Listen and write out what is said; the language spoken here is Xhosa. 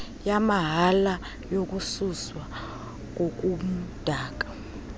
yamahala yokususwa kobumdaka